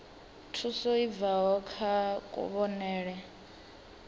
thuso i bvaho kha kuvhonele